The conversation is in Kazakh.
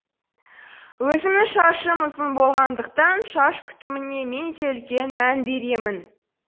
өзімнің шашым ұзын болғандықтан шаш күтіміне мен де үлкен мән беремін